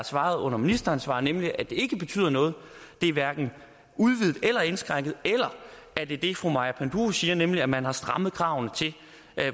svaret under ministeransvar nemlig at det ikke betyder noget det er hverken udvidet eller indskrænket eller er det det fru maja panduro siger nemlig at man har strammet kravene til